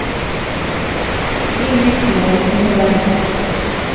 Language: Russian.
фильмик магазинные воришки